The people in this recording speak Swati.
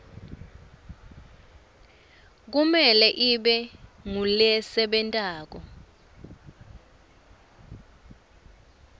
kumele ibe ngulesebentako